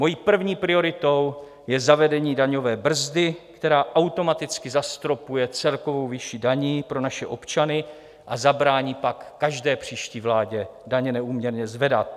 Mojí první prioritou je zavedení daňové brzdy, která automaticky zastropuje celkovou výši daní pro naše občany a zabrání pak každé příští vládě daně neúměrně zvedat.